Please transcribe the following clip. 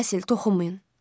Basil toxunmayın.